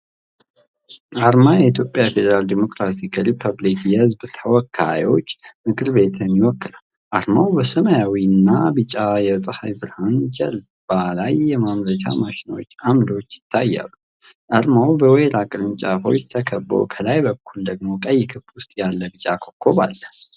አርማ የኢትዮጵያ ፌዴራል ዴሞክራሲያዊ ሪፐብሊክ የሕዝብ ተወካዮች ምክር ቤትን ይወክላል። አርማው በሰማያዊና ቢጫ የፀሐይ ብርሃን ጀርባ ላይ የማምረቻ ማሽኖችና አምዶች ይታያሉ። አርማው በወይራ ቅርንጫፎች ተከብቦ፣ ከላይ በኩል ደግሞ ቀይ ክብ ውስጥ ያለ ቢጫ ኮከብ አለ።